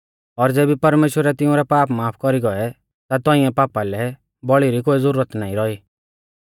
और ज़ेबी परमेश्‍वरै तिउंरै पाप माफ कौरी गौऐ ता तौंइऐ पापा लै बौल़ी री कोई ज़ुरत नाईं रौई